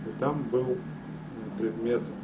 и там был м предмет